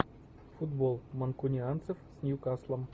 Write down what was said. футбол манкунианцев с ньюкаслом